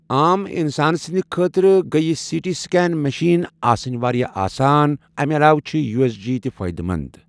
عام اِنسان سٕندِ خٲطرٕ گٔیۍ یہِ سی ٹی سِکین مِشیٖن آسنۍ واریاہ آسان۔ اَمہِ علاوہ چھِ یوٗ، ایس، جی تہِ فٲئدہ مند۔